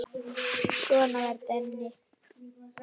Svona var Denni.